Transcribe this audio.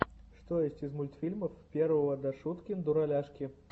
что есть из мультфильмов первого дашуткин дураляшки